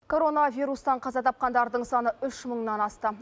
коронавирустан қаза тапқандардың саны үш мыңнан асты